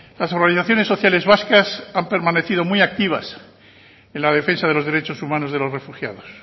las organizaciones sociales vascas han permanecido muy activas en la defensa de los derechos humanos de los refugiados